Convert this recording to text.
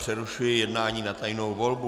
Přerušuji jednání na tajnou volbu.